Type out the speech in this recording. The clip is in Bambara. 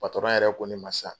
yɛrɛ ko ne ma sisan.